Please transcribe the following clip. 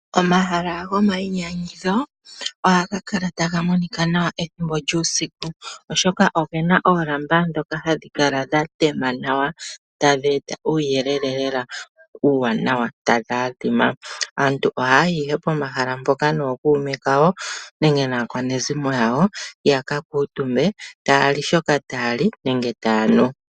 Omahala gomayinyanyudho ohaga kala taga monika nawa ethimbo lyuusiku, oshoka oge na oolamba ndhoka hadhi kala dha tema nawa tadhi eta uuyelele lela uuwanawa, tadhi adhima. Aantu ohaa yi ihe pomahala mpoka nookuume kawo nenge naakwanezimo yawo ya ka kuutumbe, taa li shoka taa li, nenge taa nu.